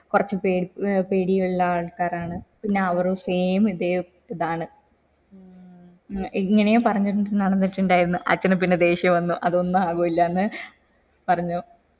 കൊറച്ച് പേടി ഏർ പേടിയിട്ടുള്ള ആൾക്കാര് ആണ് പിന്നെ അവറും same ഇതേ ഇതാണ ഇങ്ങനെയും പറഞ്ഞണ്ട് നടന്നിറ്റ് ഇണ്ടായിരുന്നു അച്ഛന് പിന്നെ ദേഷ്യം വന്നു അതൊന്നു ആകൂലാന്ന് പറഞ്ഞു